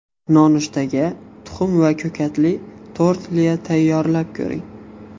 Nonushtaga tuxum va ko‘katli tortilya tayyorlab ko‘ring.